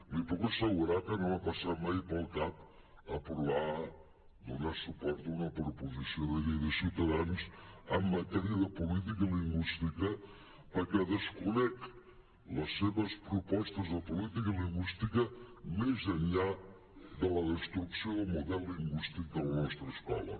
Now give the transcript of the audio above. li puc assegurar que no m’ha passat mai pel cap aprovar donar suport a una proposició de llei de ciutadans en matèria de política lingüística perquè desconec les seves propostes de política lingüística més enllà de la destrucció del model lingüístic de la nostra escola